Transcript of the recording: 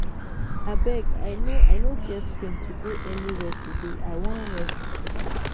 Abeg I no I no get strength to go anywhere today I wan rest